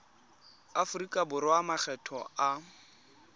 aforika borwa a makgetho a